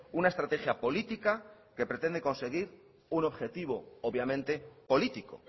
una estrategia política que pretende conseguir un objetivo obviamente político